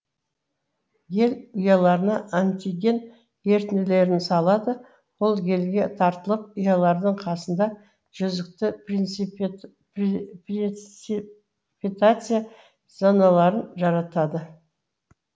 гель ұяларына антиген ерітінділерін салады ол гельге тартылып ұялардың қасында жүзікті преципитация зоналарын жаратады